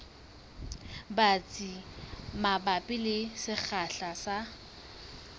batsi mabapi le sekgahla sa